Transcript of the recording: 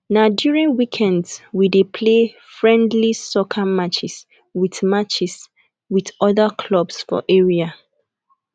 na during weekends we dey play friendly soccer matches with matches with other clubs for area